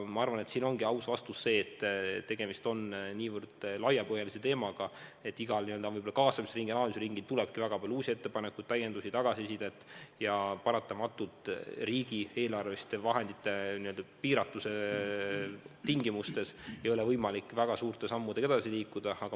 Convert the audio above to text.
Arvan siiski, et aus vastus on see, et tegemist on niivõrd laiapõhjalise teemaga, et igal n-ö kaasamisringil, analüüsiringil tuleb väga palju uusi ettepanekuid, täiendusi, tagasisidet ja paratamatult riigieelarve vahendite piiratuse tingimustes ei ole võimalik väga suurte sammudega edasi liikuda.